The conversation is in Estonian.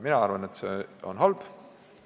Mina arvan, et see on halb.